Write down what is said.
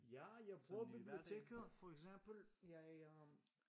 Ja jeg bruger biblioteket for eksempel jeg øh